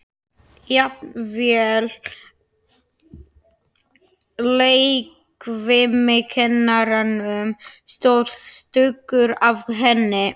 Jafnvel leikfimikennaranum stóð stuggur af henni.